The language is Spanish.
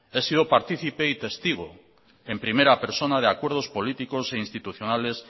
he sido partícipe y testigo en primera persona de acuerdos políticos e institucionales